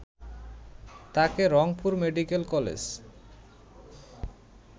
তাকে Rangpur medical college